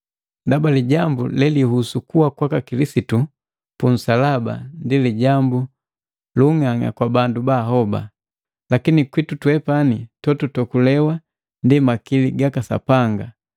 Ndaba lijambu lelihusu kuwa kwaka Kilisitu punsalaba ndi lijambu lu ung'ang'a kwa bala bahoba, lakini kwitu twepani totuokulewa ndi makili gaka Sapanga.